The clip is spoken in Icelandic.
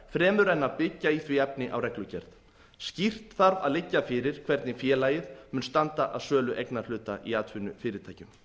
fremur en að byggja í því efni á reglugerð skýrt þarf að liggja fyrir hvernig félagið mun standa að sölu eignarhluta í atvinnufyrirtækjum